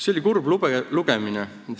See oli kurb lugemine.